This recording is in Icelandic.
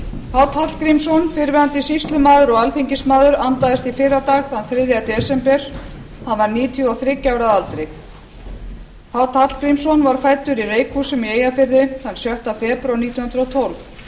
páll hallgrímsson fyrrverandi sýslumaður og alþingismaður andaðist í fyrradag þriðja desember hann var níutíu og þriggja ára að aldri páll hallgrímsson var fæddur í reykhúsum í eyjafirði sjötta febrúar nítján hundruð og tólf